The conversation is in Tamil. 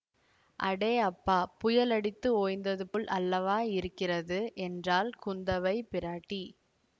அடே அப்பா புயல் அடித்து ஓய்ந்தது போல் அல்லவா இருக்கிறது என்றாள் குந்தவைப் பிராட்டி